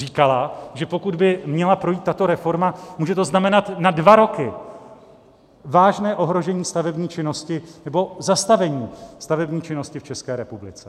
Říkala, že pokud by měla projít tato reforma, může to znamenat na dva roky vážné ohrožení stavební činnosti nebo zastavení stavební činnosti v České republice.